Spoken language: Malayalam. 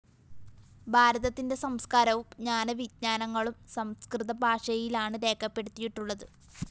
ഭാരതത്തിന്റെ സംസ്‌കാരവും ജ്ഞാന വിജ്ഞാനങ്ങളും സംസ്‌കൃത ഭാഷയിലാണ് രേഖപ്പെടുത്തിയിട്ടുള്ളത്